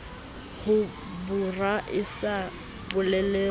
ho bora e sa bolelwang